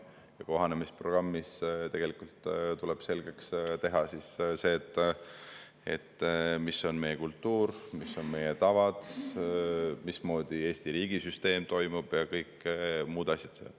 Ja kohanemisprogrammis tegelikult tuleb selgeks teha see, milline on meie kultuur, millised on meie tavad, mismoodi Eesti riigisüsteem toimib ja kõik muud asjad.